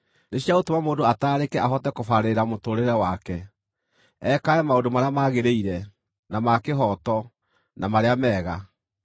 nĩ cia gũtũma mũndũ ataarĩke ahote kũbarĩrĩra mũtũũrĩre wake, ekage maũndũ marĩa magĩrĩire, na ma kĩhooto, na marĩa mega;